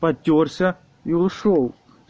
потёрся и ушёл